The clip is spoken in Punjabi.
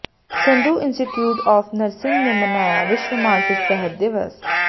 ਸੰਧੂ ਇੰਸਟੀਚਿਊਟ ਆਫ਼ ਨਰਸਿੰਗ ਨੇ ਮਨਾਇਆ ਵਿਸ਼ਵ ਮਾਨਸਿਕ ਸਿਹਤ ਦਿਵਸ